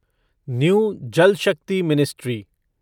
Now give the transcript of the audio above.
new Jal Shakti ministry